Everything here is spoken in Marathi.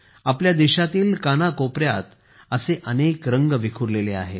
आपल्या देशातील कानाकोपऱ्यात असे अनेक रंग विखुरलेले आहेत